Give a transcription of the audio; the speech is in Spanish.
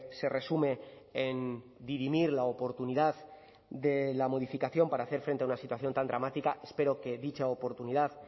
se resume en dirimir la oportunidad de la modificación para hacer frente a una situación tan dramática espero que dicha oportunidad